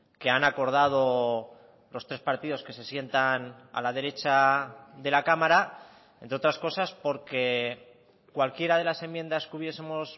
que han acordado los tres partidos que se sientan a la derecha de la cámara entre otras cosas porque cualquiera de las enmiendas que hubiesemos